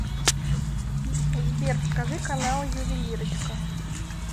сбер покажи каналы ювелирочка